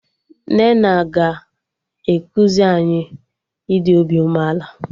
Nnenna ga-ekuzi anyị ịdị obi umeala